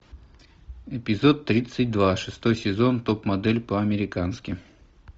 эпизод тридцать два шестой сезон топ модель по американски